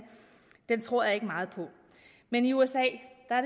tror jeg ikke meget på men i usa er